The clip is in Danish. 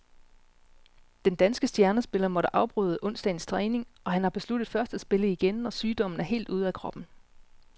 Den danske stjernespiller måtte afbryde onsdagens træning, og han har besluttet først at spille igen, når sygdommen er helt ude af kroppen.